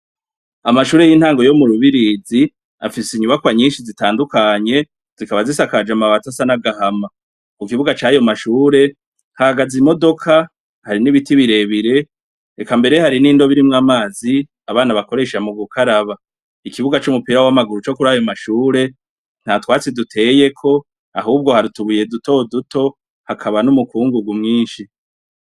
Amashure y'intango yo murubirizi afise inyubako nyinshi zitandukanye, zikaba zisakajwe n'amabati asa n'agan'agahama ,kukibuga cayo mashuri hahagaze imodoka, hari n'ibiti birebire, eka mbere hari n'indobo irimwo amazi abana bakoresha mugukara, ikibuga c'umupira w'amaguru co kurayo mashure nta twatsi duteyeko ahubwo hari utubuye duto duto hakaba n'ukungugu mwinshi.